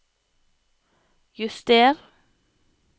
juster